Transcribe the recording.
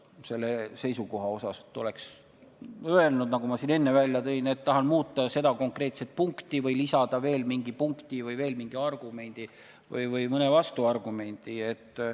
Oleksin öelnud, nagu ma siin enne välja tõin, et tahan muuta seda konkreetset punkti või lisada veel mingi punkti või mingi pooltargumendi või mõne vastuargumendi.